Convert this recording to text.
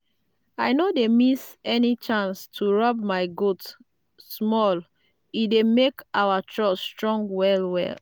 i no dey miss any chance to rub my goats small e dey make our trust strong well well.